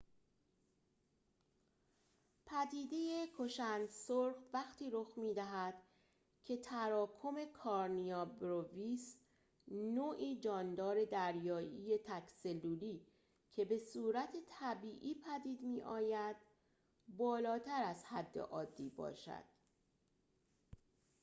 پدیده کشند سرخ وقتی رخ می‌دهد که تراکم کارنیا برویس نوعی جاندار دریایی تک‌سلولی که به‌صورت طبیعی پدید می‌آید بالاتر از حد عادی باشد